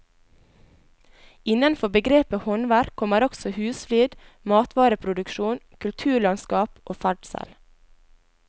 Innenfor begrepet håndverk kommer også husflid, matvareproduksjon, kulturlandskap og ferdsel.